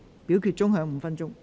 表決鐘會響5分鐘。